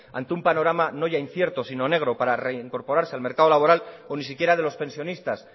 ante un panorama no ya incierto sino negro para reincorporarse al mercado laboral o ni siquiera de los pensionistas